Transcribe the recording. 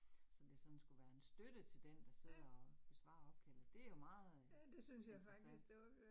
Så det sådan skulle være en støtte til den, der sidder og besvarer opkaldet. Det jo meget interessant